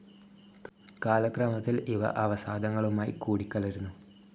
കാലക്രമത്തിൽ ഇവ അവസാദങ്ങളുമായി കൂടിക്കലരുന്നു.